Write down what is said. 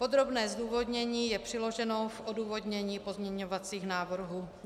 Podrobné zdůvodnění je přiloženo v odůvodnění pozměňovacích návrhů.